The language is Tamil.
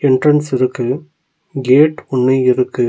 என்ட்ரன்ஸ் இருக்கு கேட் ஒன்னு இருக்கு.